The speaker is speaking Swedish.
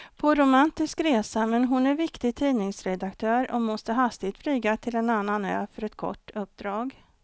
På romantisk resa, men hon är viktig tidningsredaktör och måste hastigt flyga till en annan ö för ett kort uppdrag.